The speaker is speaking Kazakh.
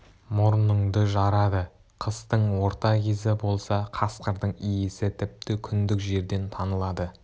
мұрныңды жарады қыстың орта кезі болса қасқырдың иісі тіпті күндік жерден танылады